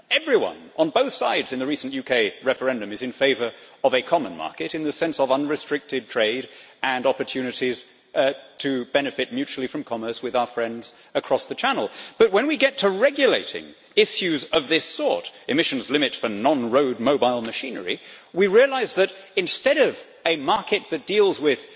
Everyone on both sides in the recent UK referendum is in favour of a common market in the sense of unrestricted trade and opportunities to benefit mutually from commerce with our friends across the Channel, but when we get to regulating issues of this sort emissions limits for non road mobile machinery we realise that, instead of a market that deals with